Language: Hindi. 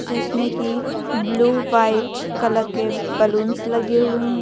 जिसमें कि ब्लू वाइट कलर के बलूंस लगे हुए हैं।